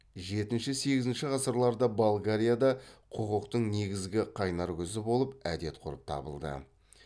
жетінші сегізінші ғасырларда болгарияда құқықтың негізгі қайнар көзі болып әдет ғұрып табылды